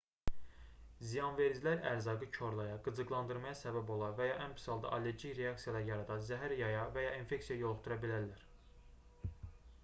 ziyanvericilər ərzaqı korlaya qıcıqlandırmaya səbəb ola və ya ən pis halda allergik reaksiyalar yarada zəhər yaya və ya infeksiyaya yoluxdura bilərlər